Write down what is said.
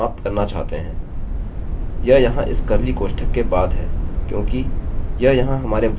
यह यहाँ इस कर्लीcurly कोष्ठक के बाद है क्योंकि यह यहाँ हमारे while स्टेटमेंटstatementका एक भाग है